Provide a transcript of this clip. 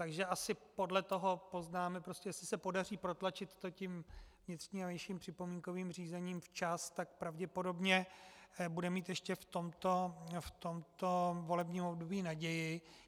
Takže asi podle toho poznáme, jestli se podaří protlačit to tím vnitřním a vnějším připomínkovým řízením včas, tak pravděpodobně bude mít ještě v tomto volebním období naději.